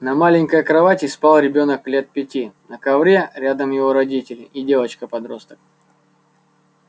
на маленькой кровати спал ребёнок лет пяти на ковре рядом его родители и девочка-подросток